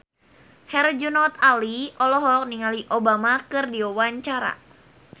Herjunot Ali olohok ningali Obama keur diwawancara